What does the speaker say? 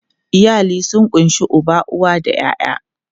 Iyali sun ƙunshi uba, uwa da ƴaƴa.